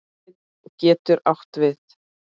Sveinn getur átt við